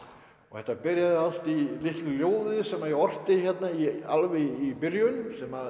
þetta byrjaði allt í litlu ljóði sem ég orti alveg í byrjun sem